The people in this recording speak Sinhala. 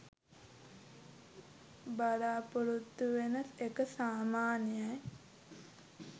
බලාපොරොත්තු වෙන එක සමාන්‍යයි.